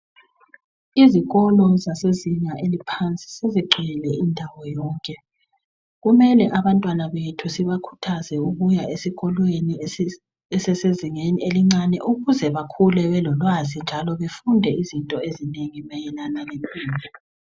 Izikolo zasezinga eliphansi sezigcwele indawo yonke. Kumele abantwana bethu sibakhuthazwe ukuya esikolweni esezingeni elincane ukuze bakhule belolwazi njalo befunde izinto ezinengi mayelana lempilo.